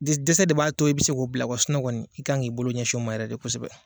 Di dɛsɛse de b'a to i bɛ se k'o bila i kan k'i bolo ɲɛsin o ma yɛrɛ de kosɛbɛ.